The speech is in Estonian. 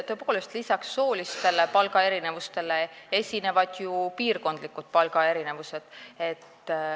Tõepoolest, lisaks soolistele palgaerinevustele esinevad ju ka piirkondlikud palgaerinevused.